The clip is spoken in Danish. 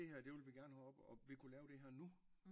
Det her det vil vi gerne have op og vi kunne lave det her nu